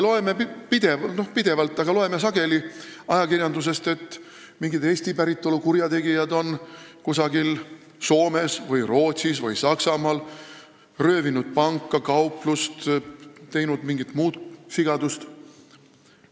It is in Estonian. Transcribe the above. Me loeme sageli ajakirjandusest, et mingid Eesti päritolu kurjategijad on kusagil Soomes, Rootsis või Saksamaal röövinud panka või kauplust või teinud mingit muud sigadust.